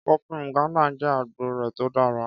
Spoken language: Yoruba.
Kọfí Nganda jẹ́ agboo rẹ̀ tó dára.